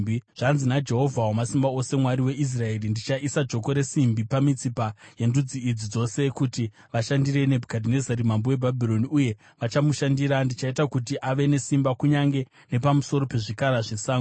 Zvanzi naJehovha Wamasimba Ose, Mwari weIsraeri, ndichaisa joko resimbi pamitsipa yendudzi idzi dzose kuti vashandire Nebhukadhinezari mambo weBhabhironi, uye vachamushandira. Ndichaita kuti ave nesimba kunyange nepamusoro pezvikara zvesango.’ ”